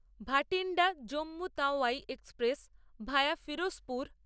Bathinda Jammu Tawi express via Ferozepur